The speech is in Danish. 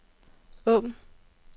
åbn